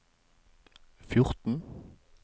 fjorten